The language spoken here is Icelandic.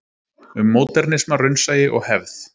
Um módernisma, raunsæi og hefð.